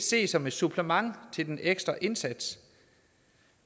ses som et supplement til den ekstra indsats